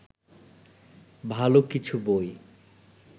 ভালো কিছু বই